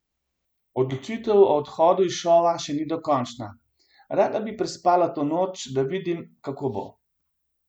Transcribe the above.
Odločitev o odhodu iz šova še ni dokončna: 'Rada bi prespala to noč, da vidim, kako bo.